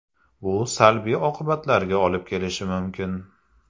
Bu salbiy oqibatlarga olib kelishi mumkin.